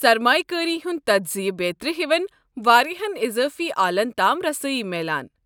سرمایہِ کٲری ہُنٛد تجزیہِ بیترِ ہِوین واریاہن اضٲفی آلن تام رسٲیی میلان۔